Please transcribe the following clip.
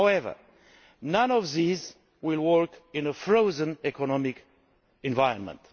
However, none of these will work in a frozen economic environment.